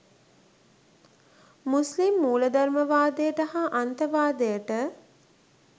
මුස්ලිම් මූලධර්මවාදයට හා අන්තවාදයට